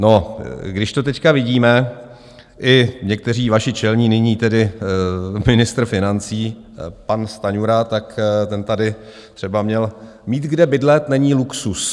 No, když to teď vidíme, i někteří vaši čelní, nyní tedy ministr financí pan Stanjura, tak ten tady třeba měl: Mít kde bydlet není luxus.